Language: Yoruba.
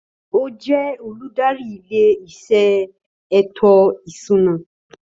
Ó jẹ́ olùdarí ilé-iṣẹ́ ètò ìṣúná